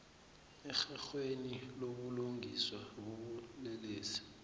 erherhweni lobulungiswa bobulelesi